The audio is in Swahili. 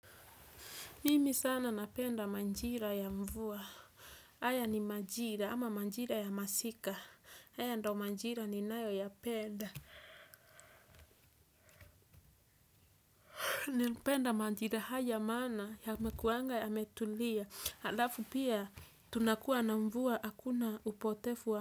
Mimi sana napenda majira ya mvua. Haya ni majira ama majira ya masika. Haya ndo majira ninayoyapenda. Napenda majira haya maana yanakuanga yametulia. Alafu pia tunakuwa na mvua hakuna upotevu wa.